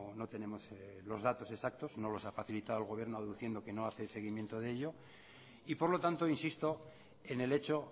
no tenemos los datos exactos no los ha facilitado el gobierno aduciendo que no hace seguimiento de ello y por lo tanto insisto en el hecho